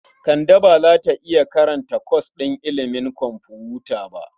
Kande ba za ta iya karanta kwas ɗin ilimin kwamfuta ba.